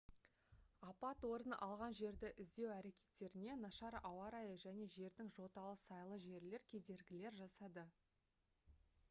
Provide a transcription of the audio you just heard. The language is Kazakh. апат орын алған жерді іздеу әрекеттеріне нашар ауа райы және жердің жоталы сайлы жерлер кедергілер жасады